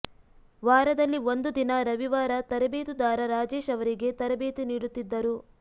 ವಾರದಲ್ಲಿ ಒಂದು ದಿನ ರವಿವಾರ ತರೆಬೇತುದಾರ ರಾಜೇಶ್ ಅವರಿಗೆ ತರಬೇತಿ ನೀಡುತ್ತಿದ್ದರು